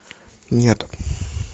нет